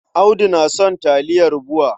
Audu na son taliyar BUA.